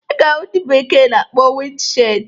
Ị ga-ahụ nke ndị bekee na-akpọ wịnd shịld.